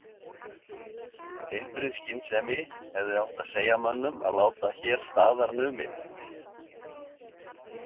Heilbrigð skynsemi hefði átt að segja mönnum að láta hér staðar numið.